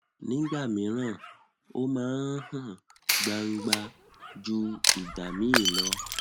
nígbà míran ó máa ń hàn gbangba ju ìgbà míì lọ